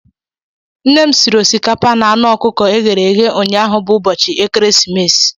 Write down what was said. Nne m sịrị osikapa na anụ ọkụkọ eghere eghe ụnyaahụ bụ ụbọchị Ekeresimesi.